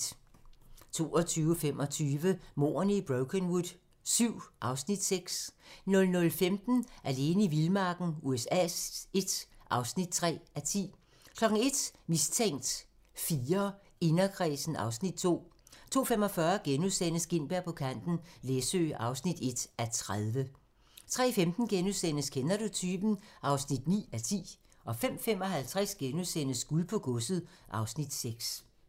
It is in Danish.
22:25: Mordene i Brokenwood VII (Afs. 6) 00:15: Alene i vildmarken USA I (3:10) 01:00: Mistænkt IV: Inderkredsen (Afs. 2) 02:45: Gintberg på kanten - Læsø (1:30)* 03:15: Kender du typen? (9:10)* 05:55: Guld på godset (Afs. 6)*